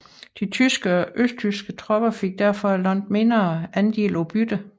De tyske og østrigske tropper fik derfor en langt mindre andel af byttet